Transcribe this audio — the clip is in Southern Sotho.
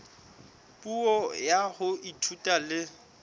puo ya ho ithuta le